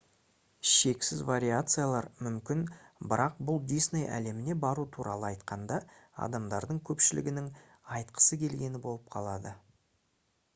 шексіз вариациялар мүмкін бірақ бұл «дисней әлеміне бару» туралы айтқанда адамдардың көпшілігінің айтқысы келгені болып қалады